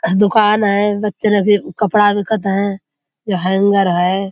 दुकान है ज बच्चन के कपड़ा बिकत है जो हेंगर है।